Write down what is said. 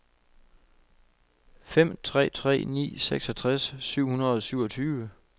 fem tre tre ni seksogtres syv hundrede og syvogtyve